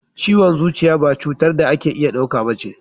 Ciwon zuciya ba cutar da ake iya dauka ba ce.